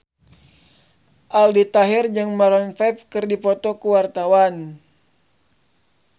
Aldi Taher jeung Maroon 5 keur dipoto ku wartawan